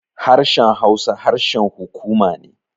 Harshen Hausa harshen hukuma ne.